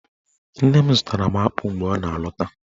Nne m zụtara m akpụ mgbe ọ na-alọta